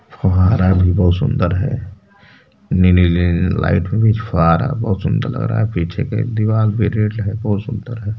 फंवारा भी सुंदर है नीले-नीले लाइट में फ़ुवारा बोहोत सुंदर लग रहा है पीछे की दीवाल पे रेड लाइट बोहोत सुंदर है।